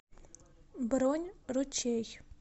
бронь ручей